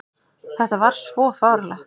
Þetta var svo fáránlegt!